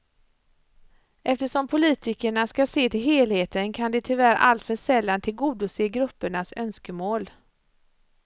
Eftersom poltikerna ska se till helheten kan de tyvärr alltför sällan tillgodose gruppernas önskemål.